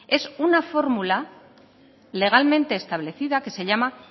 es una fórmula legalmente establecida que se llama